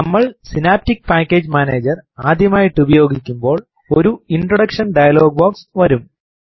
നമ്മൾ synaptic package manager ആദ്യമായിട്ട് ഉപയോഗിക്കുബോൾ ഒരു ഇൻട്രോഡക്ഷൻ ഡയലോഗ് ബോക്സ് വരും